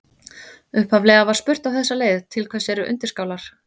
Upphaflega var spurt á þessa leið: Til hvers eru undirskálar?